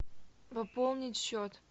пополнить счет